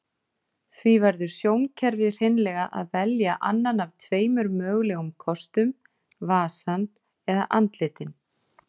Því verður sjónkerfið hreinlega að velja annan af tveimur mögulegum kostum, vasann eða andlitin.